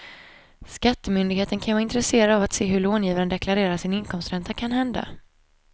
Skattemyndigheten kan ju vara intresserad av att se hur långivaren deklarerar sin inkomstränta kanhända.